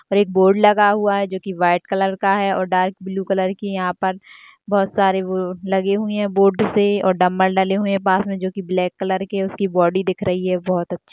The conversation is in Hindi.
और एक बोर्ड लगा हुआ है जो की वाइट कलर का है और डार्क ब्लू कलर के यहां पर बहुत सारे लगे हुए हैं बोर्ड से डंबल डले हुए हैं पास में जो की ब्लैक कलर के उसकी बॉडी दिख रही है बहुत अच्छी।